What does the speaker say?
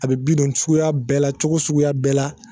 A be bi don sukuya bɛɛ la cogo suguya bɛɛ la